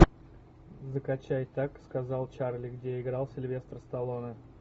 закачай так сказал чарли где играл сильвестр сталлоне